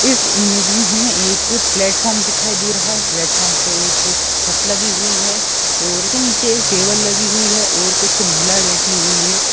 इस इमेज में हमें एक प्लेटफार्म दिखाई दे रहा है प्लेटफार्म पे एक छत लगी हुई है और उसके नीचे एक टेबल लगी हुई है और कुछ महीलाएं बैठी हुई है।